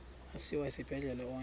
asiwa esibhedlele onke